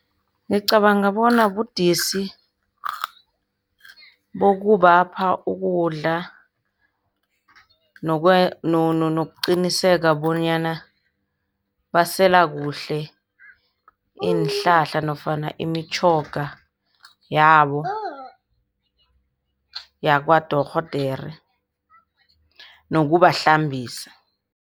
Ngicabanga bona budisi bokubapha ukudla nokuqinisekisa bonyana basela kuhle iinhlahla nofana imitjhoga yabo, yakwadorhodere nokubahlambisa.